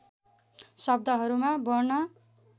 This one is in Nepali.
शब्दहरूमा वर्ण